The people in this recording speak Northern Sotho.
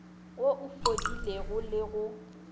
wo o fodilego le go